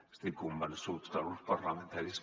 estic convençut que els grups parlamentaris